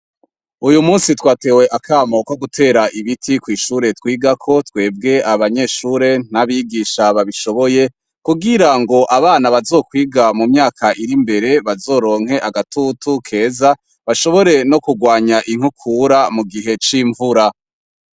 Uyu musi twatewe akamo ko gutera ibiti kw'ishuri twigako twebwe abanyeshure n'abigisha babishoboye, kugirango abana bazokwiga mumyaka iri imbere bazoronke agatutu keza, bashobore no kugwanya inkukura mugihe c'imvura.